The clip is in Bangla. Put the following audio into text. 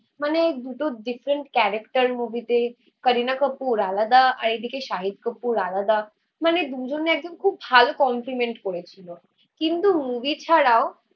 মানে দুটো ডিফারেন্ট ক্যারেক্টার মুভি তে কারিনা কাপুর আলাদা আর এদিকে সাহিত্য কাপুর আলাদা মানে দুজনে একদম খুব ভালো কমপ্লিমেন্ট করেছিল. কিন্তু মুভি ছাড়াও